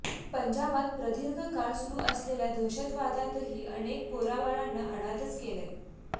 पंजाबात प्रदीर्घ काळ सुरू असलेल्या दहशतवादातही अनेक पोराबाळांना अनाथच केले